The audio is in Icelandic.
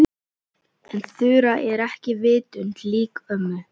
En Þura er ekki vitund lík ömmu.